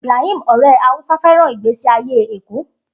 Ibrahim, ọ̀rẹ́ Hausa, fẹ́ràn ìgbésí ayé Èkó.